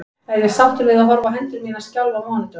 Er ég sáttur við að horfa á hendur mínar skjálfa á mánudögum?